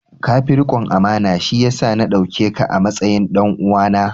Ka fi rikon amana, shi ya sa na dauke ka a matsayin ɗan uwana.